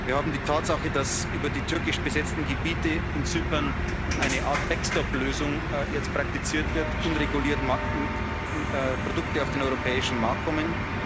Wir haben die Tatsache, dass über die türkisch besetzten Gebiete in Zypern jetzt eine Art Backstop Lösung praktiziert wird, unreguliert Produkte auf den europäischen Markt kommen.